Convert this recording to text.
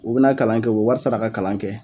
O bɛna kalan kɛ o bɛ wari sara ka kalan kɛ.